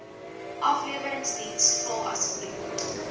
afleweringsdiens vul asseblief